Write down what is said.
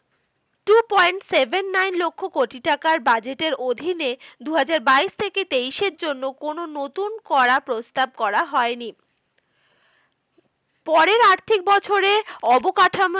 Two point seven nine লক্ষ কোটি টাকার budget এর অধীনে দু হাজার বাইশ থেকে তেইশের জন্য কোনো নতুন কড়া প্রস্তাব করা হয়নি। পরের আর্থিক বছরে অবকাঠামোর